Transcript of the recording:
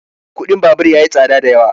kuɗin babur ya yi tsada da yawa